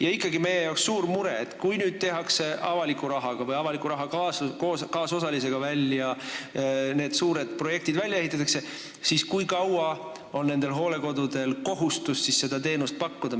Ja ikkagi on meie jaoks suur mure, et kui nüüd avaliku rahaga või avaliku raha kaasosalusega need suured projektid välja ehitatakse, siis kui kaua on nendel hooldekodudel kohustus seda teenust pakkuda.